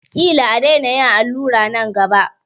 Ƙila a daina yin allura nan gaba.